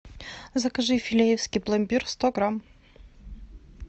закажи филеевский пломбир сто грамм